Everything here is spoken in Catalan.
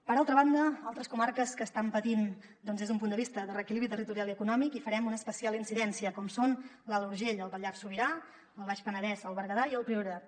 per altra banda en altres comarques que estan patint doncs des d’un punt de vista de reequilibri territorial i econòmic hi farem una especial incidència com són l’alt urgell el pallars sobirà el baix penedès el berguedà i el priorat